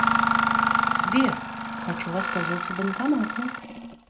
сбер хочу воспользоваться банкоматом